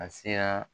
A sera